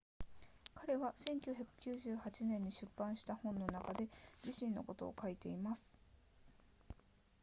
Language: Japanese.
彼は1998年に出版した本の中で自身のことを書いています